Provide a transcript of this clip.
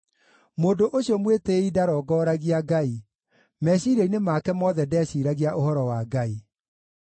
Mũndũ ũcio mwĩtĩĩi ndarongoragia Ngai; meciiria-inĩ make mothe ndeciiragia ũhoro wa Ngai.